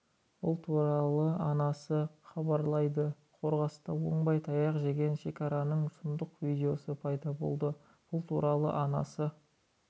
бұл туралы арнасы хабарлайды қорғаста оңбай таяқ жеген шекарашаның сұмдық видеосы пайда болды бұл туралы арнасы